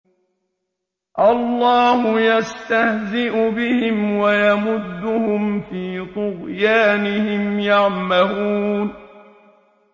اللَّهُ يَسْتَهْزِئُ بِهِمْ وَيَمُدُّهُمْ فِي طُغْيَانِهِمْ يَعْمَهُونَ